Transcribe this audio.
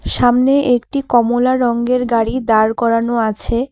সামনে একটি কমলা রঙের গাড়ি দাঁড় করানো আছে।